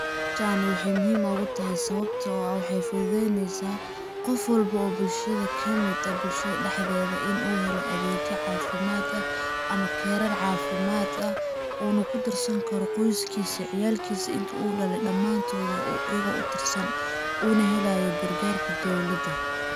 Sha na waxay muhim ugutahay sababto ah waxay fududeynesa qof walbo oo bulshada kamid eh bulshada daxdedha in uu helo adegya cafimad ah ama karar cafimad ah, in uu kudarsan karo qoyskisa ciyalkisa inti uu dale damantodha iyago utirsan, uu na helayo gargarka dowladha.